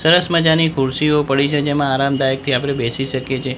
સરસ મજાની ખુરશીઓ પડી છે જેમાં આરામદાયક થી આપડે બેસી શકીએ છે.